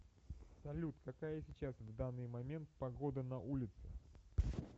салют какая сейчас в данный момент погода на улице